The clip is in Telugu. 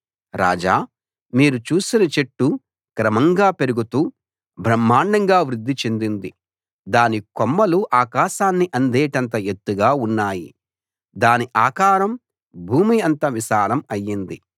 రాజా మీరు చూసిన చెట్టు క్రమంగా పెరుగుతూ బ్రహ్మాండంగా వృద్ది చెందింది దాని కొమ్మలు ఆకాశాన్ని అందేటంత ఎత్తుగా ఉన్నాయి దాని ఆకారం భూమి అంత విశాలం అయ్యింది